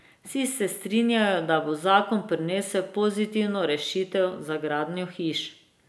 Vsi se strinjajo, da bo zakon prinesel pozitivne rešitve za gradnjo hiš.